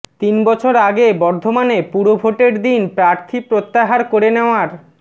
তিন বছর আগে বর্ধমানে পুরভোটের দিন প্রার্থী প্রত্যাহার করে নেওয়ার